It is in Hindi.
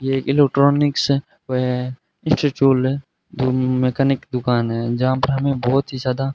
ये एक इलेक्ट्रॉनिक्स है व इंस्टिट्यूट है जो मैकेनिक दुकान है जहां पर हमें बहुत ही ज्यादा --